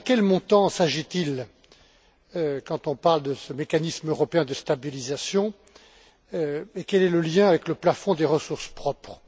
Première question de quel montant s'agit il quand on parle de ce mécanisme européen de stabilisation? Quel est le lien avec le plafond des ressources propres?